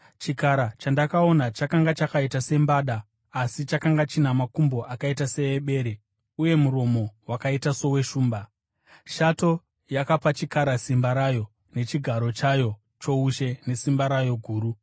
Chikara chandakaona chakanga chakaita sembada, asi chakanga china makumbo akaita seebere uye muromo wakaita soweshumba. Shato yakapa chikara simba rayo nechigaro chayo choushe nesimba rayo guru.